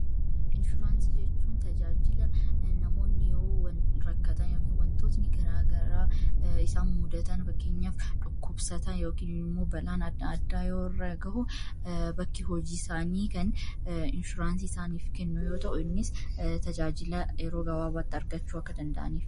inshuraansii jechuun tajaajila namoonni yoo wan rakkatan yookin wantootni garaagaraa isaan mudatan bakkienyaaf dhukkubsata yokin imoo balaan adda addaa yooragahu bakki hojiiisaanii kan infuraansii isaaniif kennu yoo ta'u innis tajaajila yeroo gabaabaatti argachuu akka danda'aniif